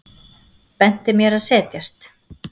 Benti mér að setjast.